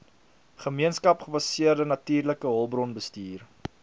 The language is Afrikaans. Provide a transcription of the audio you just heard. gemeenskapsgebaseerde natuurlike hulpbronbestuur